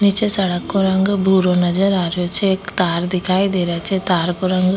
निचे सड़क को रंग भूरो नजर आ रा छे एक तार दिखाई दे रा छे तार को रंग --